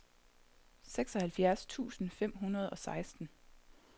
seksoghalvfjerds tusind fem hundrede og seksten